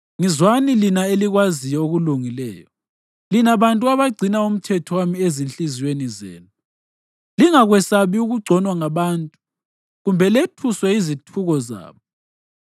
Ngizwani lina elikwaziyo okulungileyo lina bantu abagcina umthetho wami ezinhliziyweni zenu: Lingakwesabi ukugconwa ngabantu, kumbe lethuswe yizithuko zabo.